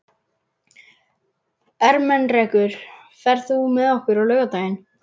Ermenrekur, ferð þú með okkur á laugardaginn?